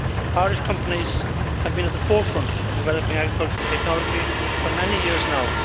Irish companies have been at the forefront of developing agricultural technology for many years now.